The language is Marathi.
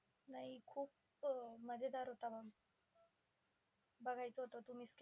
नाही खूप अं मजेदार होता बघायच होतं तू miss के.